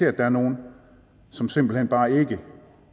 at der er nogle som simpelt hen bare ikke